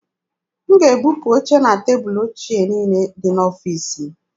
M ga-ebupu oche na tebụlụ ochie niile dị n'ọfiisi m.